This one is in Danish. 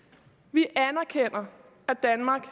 vi anerkender at danmark